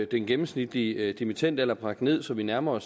den gennemsnitlige dimittendalder bragt ned så vi nærmer